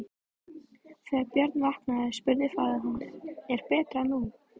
Þegar Björn vaknaði spurði faðir hans:-Er betra nú?